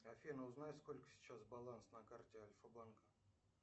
афина узнай сколько сейчас баланс на карте альфа банка